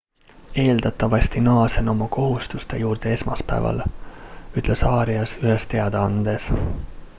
eeldatavasti naasen oma kohustuste juurde esmaspäeval ütles arias ühes teadaandes